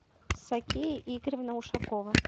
сакия игоревна ушакова